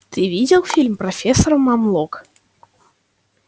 ты видел фильм профессор мамлок